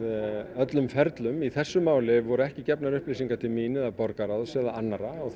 öllum ferlum í þessu máli voru ekki gefnar upplýsingar til mín borgarráðs eða annarra og